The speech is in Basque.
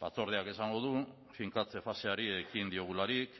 batzordeak esango du finkatze faseari ekin diogularik